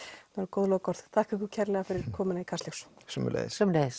góð lokaorð þakka ykkur kærlega fyrir komuna í Kastljós sömuleiðis